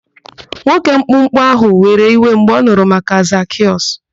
Nwoke mkpụmkpụ ahụ were iwe mgbe ọ nụrụ maka Zakịọs.